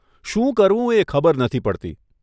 શું કરવું એ ખબર નથી પડતી.